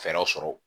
Fɛɛrɛw sɔrɔ